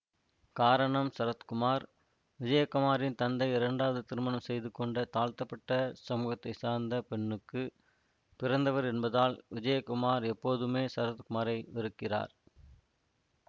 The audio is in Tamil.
காரணம் சரத்குமார் விஜயகுமாரின் தந்தை இரண்டாவது திருமணம் செய்து கொண்ட தாழ்த்தப்பட்ட சமூகத்தை சார்ந்த பெண்ணுக்கு பிறந்தவர் என்பதால் விஜயகுமார் எப்போதுமே சரத்குமாரை வெறுக்கிறார்